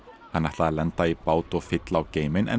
hann ætlaði að lenda í bát og fylla á geyminn en